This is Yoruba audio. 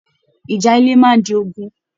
Ìjà ilẹ máa n di ogún.